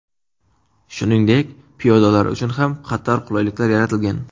Shuningdek, piyodalar uchun ham qator qulayliklar yaratilgan.